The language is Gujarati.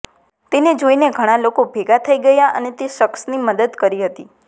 તેને જોઈને ઘણા લોકો ભેંગા થઈ ગયા અને તે શખ્સની મદદ કરી હતી